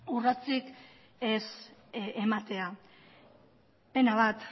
urratsik ez ematea pena bat